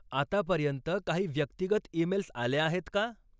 आतापर्यंत काही व्यक्तिगत ईमेल्स आल्या आहेत का?